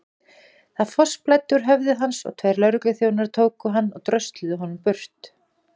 Það fossblæddi úr höfði hans og tveir lögregluþjónar tóku hann og drösluðu honum burt.